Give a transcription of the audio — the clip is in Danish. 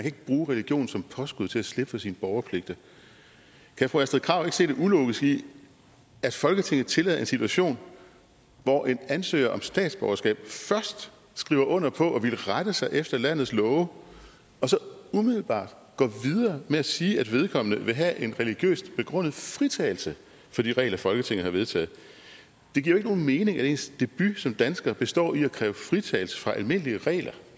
ikke bruge religion som påskud til at slippe for sine borgerpligter kan fru astrid krag ikke se det ulogiske i at folketinget tillader en situation hvor en ansøger om statsborgerskab først skriver under på at ville rette sig efter landets love og så umiddelbart går videre med at sige at vedkommende vil have en religiøst begrundet fritagelse fra de regler folketinget har vedtaget det giver jo ikke nogen mening at ens debut som dansker består i at kræve fritagelse fra almindelige regler